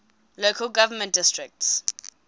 local government districts